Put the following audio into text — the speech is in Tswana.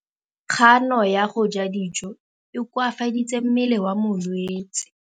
Kganô ya go ja dijo e koafaditse mmele wa molwetse.